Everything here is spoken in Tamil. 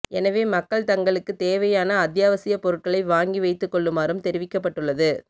எனவே மக்கள் தங்களுக்கு தேவையான அத்தியாவசியப் பொருட்களை வாங்கி வைத்துகொள்ளுமாறும் தெரிவிக்கப்பட்டுள்ளது